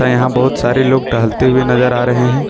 यहां बहुत सारे लोग टहलते हुए नजर आ रहे हैं।